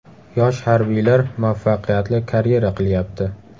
Yosh harbiylar muvaffaqiyatli karyera qilyapti.